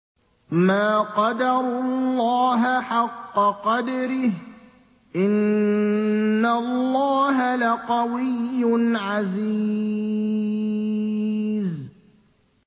مَا قَدَرُوا اللَّهَ حَقَّ قَدْرِهِ ۗ إِنَّ اللَّهَ لَقَوِيٌّ عَزِيزٌ